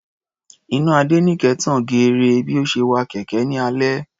Iná Adéníkẹ tan geere bí ó ṣe wa kẹ̀kẹ́ ní alẹ́.